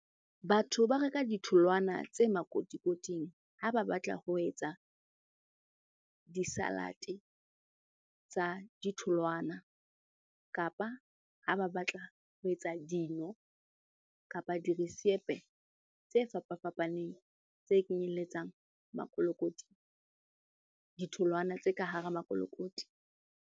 Batho ba reka ditholwana tse makotikoting ha ba batla ho etsa di-salad-e tsa ditholwana, kapa ha ba batla ho etsa dino kapa dirisepe tse fapafapaneng. Tse kenyelletsang makolokoti, ditholwana tse ka hara makolokoti.